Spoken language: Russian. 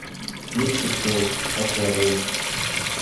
сливки шоу аквариум